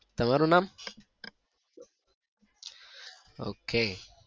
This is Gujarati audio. તમારું નામ ok